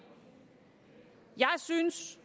jeg synes